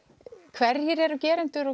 hverjir eru gerendur